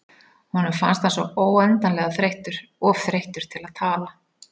Honum fannst hann svo óendanlega þreyttur, of þreyttur til að tala.